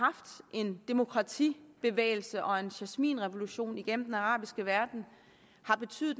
en demokratibevægelse og en jasminrevolution i den arabiske verden har betydet